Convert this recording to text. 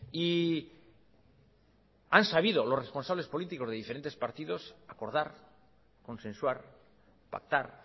y han sabido los responsables políticos de diferentes partidos acordar consensuar pactar